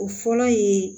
O fɔlɔ ye